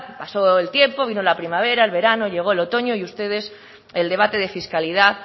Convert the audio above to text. pasó el tiempo vino la primavera el verano llegó el otoño y a ustedes el debate de fiscalidad